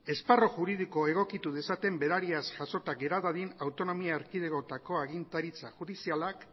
esparru juridikoa egokitu dezaten berariaz jasota gera dadin autonomia erkidegoetako agintaritza judizialak